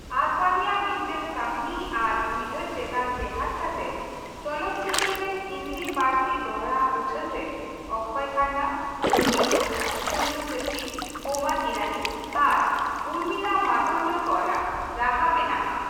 ᱟᱫᱵᱟᱱᱤyᱟᱜ ᱢᱤᱫᱴᱟᱝ ᱠᱟᱹᱦiᱱᱤ ᱟᱨ ᱩᱭᱦᱟᱹᱨ ᱪᱮᱛᱟᱱ ᱴᱮᱦᱟᱰ ᱠᱟᱛᱮ, ᱪᱚᱞᱚᱛ ᱪᱤᱛᱟᱹᱨ ᱨᱮ ᱦᱤᱱᱫᱤ ᱯᱟᱹᱨᱥᱤ ᱫᱚᱲᱦᱟ ᱩᱪᱷᱟᱹᱱ ᱨᱮ ᱚᱠᱠᱷᱚᱭ ᱠᱷᱟᱱᱱᱟ, ᱜᱳᱵᱤᱱᱫᱚ, ᱥᱩᱱᱤᱞ ᱥᱮᱴtᱤ, ᱵᱳᱢᱟᱱ ᱤᱨᱟᱱᱤ ᱟᱨ ᱩᱨᱢᱤᱞᱟ ᱢᱟᱛᱳᱱᱰᱠᱚᱨ ᱟᱜ ᱨᱟᱦᱟ ᱢᱮᱱᱟᱜᱼᱟ ᱾